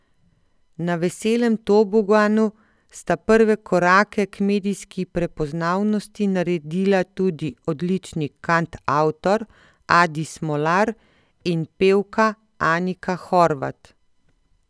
Na Veselem toboganu sta prve korake k medijski prepoznavnosti naredila tudi odlični kantavtor Adi Smolar in pevka Anika Horvat.